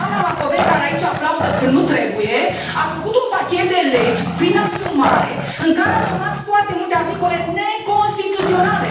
Doamna Macovei, care aici aplaudă când nu trebuie, a făcut un pachet de legi, prin asumare, în care au rămas foarte multe articole neconstituționale.